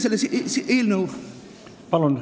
Palun!